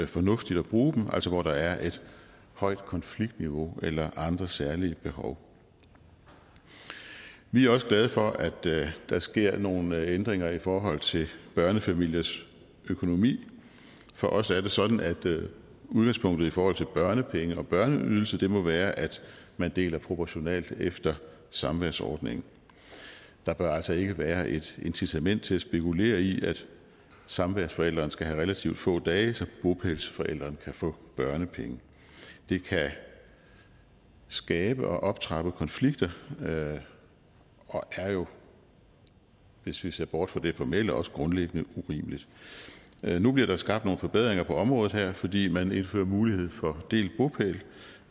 fornuftigt at bruge dem altså hvor der er et højt konfliktniveau eller andre særlige behov vi er også glade for at der sker nogle ændringer i forhold til børnefamiliers økonomi for os er det sådan at udgangspunktet i forhold til børnepenge og børneydelse må være at man deler proportionalt efter samværsordningen der bør altså ikke være et incitament til at spekulere i at samværsforældrene skal have relativt få dage så bopælsforældrene kan få børnepenge det kan skabe og optrappe konflikter og er jo hvis vi ser bort fra det formelle også grundlæggende urimeligt nu bliver der skabt nogle forbedringer på området her fordi man indfører mulighed for delt bopæl